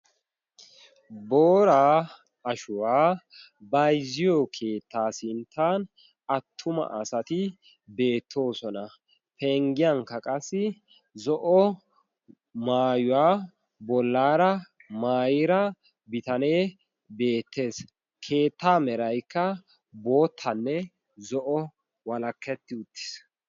boraa ashuwaa bayzziyo keettaa sinttan attuma asati beettoosona. penggiyankka qassi zo'o maayuwaa bollaara maayra bitanee beettees. keettaa meraykka boottanne zo'o walakketti uttiis.